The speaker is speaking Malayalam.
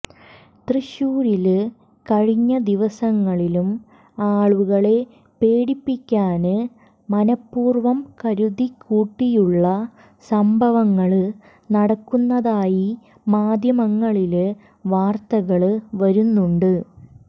തൃശൂരില് കഴിഞ്ഞ ദിവസങ്ങളിലും ആളുകളെ പേടിപ്പിക്കാന് മനപൂര്വ്വം കരുതിക്കൂട്ടിയുള്ള സംഭവങ്ങള് നടക്കുന്നതായി മാധ്യമങ്ങളില് വാര്ത്തകള് വരുന്നുണ്ട്